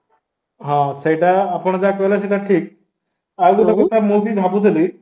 ହଁ, ସେଇଟା ଆପଣ ଯାହା କହିଲେ ସେଇଟା ଠିକ, ଆଉ ଗୋଟେ କଥା ମୁଁବି ଭାବୁଥିଲି